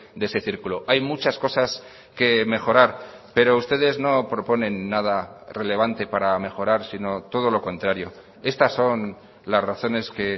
de ese círculo hay muchas cosas que mejorar pero ustedes no proponen nada relevante para mejorar sino todo lo contrario estas son las razones que